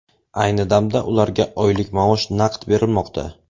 Ayni damda ularga oylik maosh naqd berilmoqda.